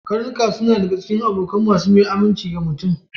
Karnuka na iya zama abokan mai aminci na mutum.